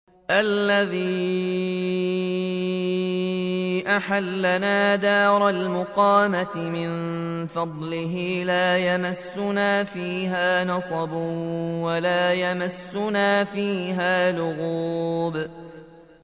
الَّذِي أَحَلَّنَا دَارَ الْمُقَامَةِ مِن فَضْلِهِ لَا يَمَسُّنَا فِيهَا نَصَبٌ وَلَا يَمَسُّنَا فِيهَا لُغُوبٌ